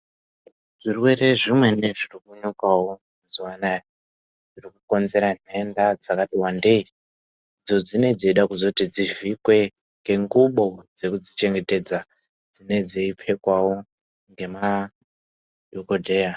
Zvirwere zvimweni zvirikunyukawo mazuwa anaya, zvirikukonzera nhenda dzakati wandei, idzo dzinee dzeida kuzoti dzivhikwe, ngengubo dzekudzichengetedza dzinee dzeipfekwawo ngemadhokodheya.